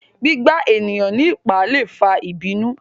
gbígbà eniyan ní ipá lè fà ìbínú